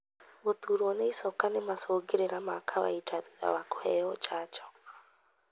Gũturwo nĩ icoka nĩ macungĩrira ma kawainda thutha wa kũheo janjo.